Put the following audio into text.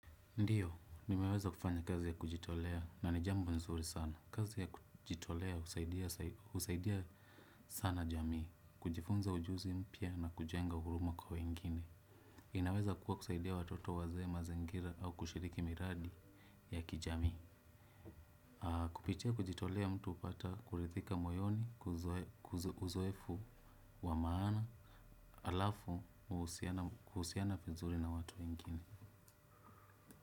Ndiyo, nimeweza kufanya kazi ya kujitolea na ni jambo nzuri sana. Kazi ya kujitolea husaidia sana jamii, kujifunza ujuzi mpya na kujenga huruma kwa wengine. Inaweza kuwa kusaidia watoto, wazee, mazingira au kushiriki miradi ya kijamii. Kupitia kujitolea mtu hupata kuridhika moyoni, kwa uzoefu wa maana, alafu kuhusiana vizuri na watu wengine.